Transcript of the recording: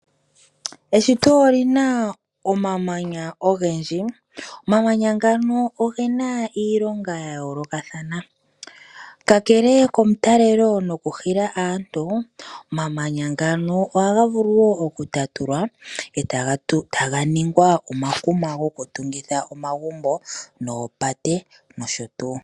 Eshito oli na omamanya ogendji, omamanya ngano oge na iilonga ya yoolokathana, ka kele komutalelo nokuhila aantu omamanya ngano ohaga vulu wo okutatulwa e taga ningwa omakuma gokutungitha omagumbo noopate nosho tuu.